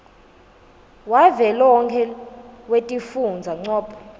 wavelonkhe wetifundza ncop